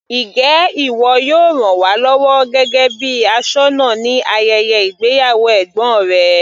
Njẹ́ ìwọ yóò ràn wá lọ́wọ́ gẹ́gẹ́ bíi aṣọ́nà ní ayẹyẹ ìgbéyàwó ẹ̀gbọ́n rẹ.